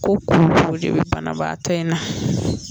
Ko koko de bɛ banabaatɔ in na.